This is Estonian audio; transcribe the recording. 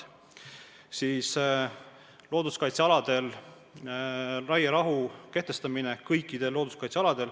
Siis tuleb kõikidel looduskaitsealadel kehtestada raierahu.